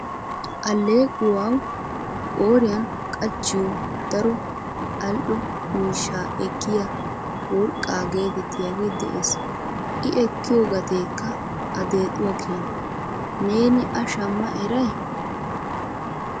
Alleequwaw qooriyan qachchiyo daro ali"o miishshaa ekkiyaa 'worqqaa' getettiyaagee de'ees. I ekkiyo gatekka a deexuwa keenaa, neen a shamma eray?